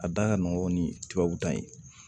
A da ka nɔgɔ ni tubabu dan ye